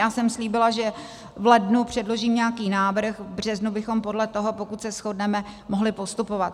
Já jsem slíbila, že v lednu předložím nějaký návrh, v březnu bychom podle toho, pokud se shodneme, mohli postupovat.